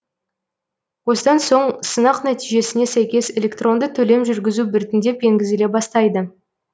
осыдан соң сынақ нәтижесіне сәйкес электронды төлем жүргізу біртіндеп енгізіле бастайды